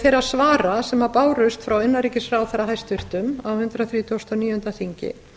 þeirra svara sem bárust frá hæstvirtum innanríkisráðherra á hundrað þrítugasta og níunda þingi